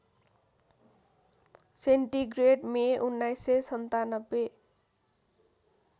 centigrade May १९९७